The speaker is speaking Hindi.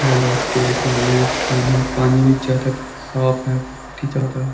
और लोग देख रहे हैं का नहीं पानी भी ज्यादा साफ है बहुत ही ज्यादा है।